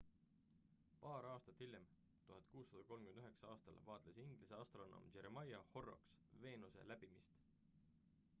paar aastat hiljem 1639 aastal vaatles inglise astronoom jeremiah horrocks veenuse läbimist